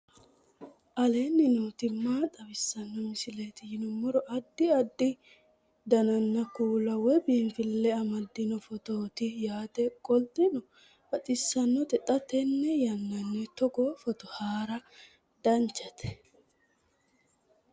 aleenni nooti maa xawisanno misileeti yinummoro addi addi dananna kuula woy biinsille amaddino footooti yaate qoltenno baxissannote xa tenne yannanni togoo footo haara danvchate